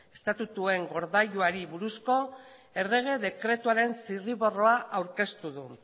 estatutuen gordailuari buruzko errege dekretuaren zirriborroa aurkeztu du